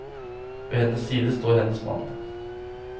Ved hennes side står hennes mann.